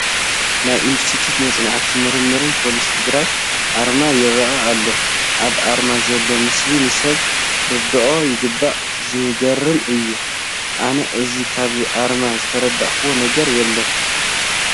ናይ ኢንስቲትዩት መፅናዕትን ምርምርን ፖሊስ ትግራይ ኣርማ ይርአ ኣሎ፡፡ ኣብ ኣርማ ዘሎ ምስሊ ንሰብ ክርድኦ ይግባእ፡፡ ዝገርም እዩ፡፡ ኣነ ሕዚ ካብዚ ኣርማ ዝተረዳእኹዎ ነገር የለን፡፡